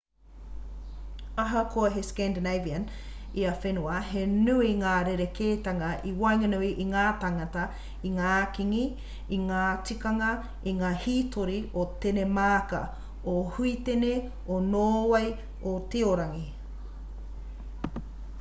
ahakoa he scandinavian ia whenua he nui ngā rerekētanga i waenganui i ngā tāngata i ngā kīngi i ngā tikanga i ngā hītori o tenemāka o huitene o nōwei o tiorangi